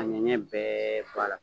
Ka ɲɛɲɛ bɛɛ bɔ a la